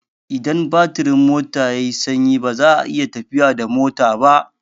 Idan batirin mota yai sanyi baza a iya tafiya da mota ba